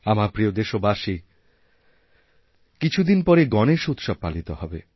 আমার প্রিয়দেশবাসী কিছুদিন পরেই গণেশ উৎসব পালিত হবে